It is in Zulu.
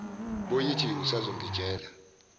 bo yithi usazongitshela